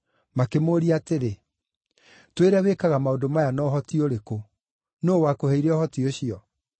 Makĩmũũria atĩrĩ, “Twĩre wĩkaga maũndũ maya na ũhoti ũrĩkũ. Nũũ wakũheire ũhoti ũcio?”